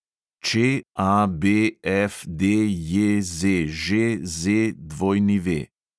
ČABFDJZŽZW